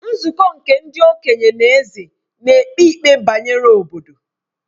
Nzukọ nke ndi-okenye na Eze nēkpe ikpe bayere obodo.